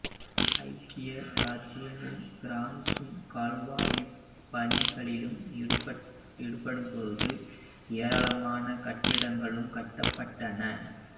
ஐக்கிய இராச்சியமும் பிரான்சும் கால்வாய்ப் பணிகளில் ஈடுபட்டபோது ஏராளமான கட்டிடங்கள் கட்டபட்டன